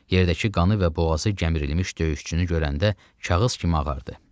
Yerdəki qanı və boğazı gəmirilmiş döyüşçünü görəndə kağız kimi ağardı.